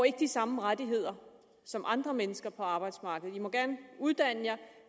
ikke de samme rettigheder som andre mennesker på arbejdsmarkedet i må gerne uddanne jer